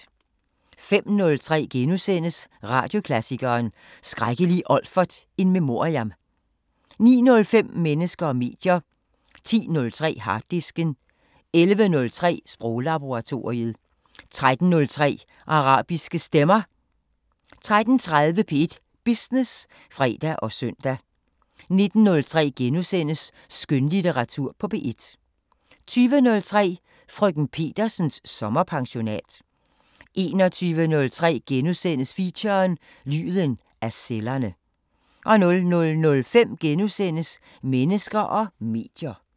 05:03: Radioklassikeren: Skrækkelige Olfert in memoriam * 09:05: Mennesker og medier 10:03: Harddisken 11:03: Sproglaboratoriet 13:03: Arabiske Stemmer 13:30: P1 Business (fre og søn) 19:03: Skønlitteratur på P1 * 20:03: Frk. Petersens sommerpensionat 21:03: Feature: Lyden af cellerne * 00:05: Mennesker og medier *